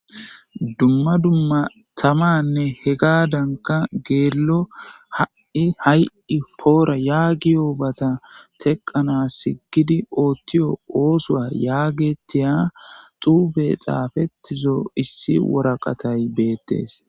dumma dumma tamanne he gaadanka geello ha7i hay7i poora yaagi oobata teqqanas siggidi oottiyo oosoa yaagetiya xuube xaafettizo issi woraqatay beettees